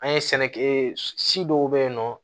An ye sɛnɛkɛ ee si dɔw be yen nɔ